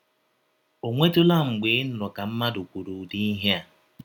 Ò nwetụla mgbe ị nụrụ ka mmadụ kwụrụ ụdị ihe a?